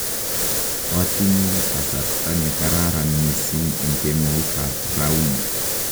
koatinye kasarta ne kararan mising eng kemoutab rauni